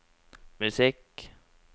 musikk